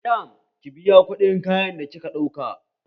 Madam ki biya kuɗin kayan da kika ɗauka!